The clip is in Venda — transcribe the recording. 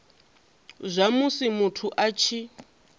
zwa musi muthu a tshi